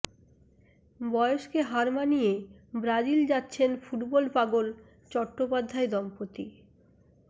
বয়সকে হার মানিয়ে ব্রাজিল যাচ্ছেন ফুটবল পাগল চট্টোপাধ্যায় দম্পতি